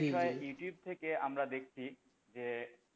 এ বিষয়ে ইউটিউব থেকে আমরা দেখছি যে,